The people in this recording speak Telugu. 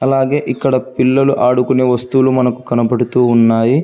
అలాగే ఇక్కడ పిల్లలు ఆడుకునే వస్తువులు మనకు కనపడుతూ ఉన్నాయి.